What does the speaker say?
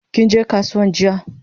Kinje kasuwan jiya?